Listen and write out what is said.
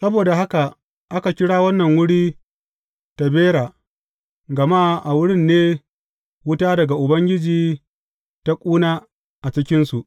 Saboda haka aka kira wannan wuri Tabera, gama a wurin ne wuta daga Ubangiji ta ƙuna a cikinsu.